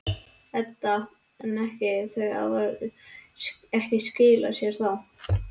Edda: En ekki, þau hafa ekki skilað sér þá?